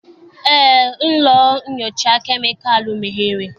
Eé, ụlọ nnyocha kemịkalụ meghere.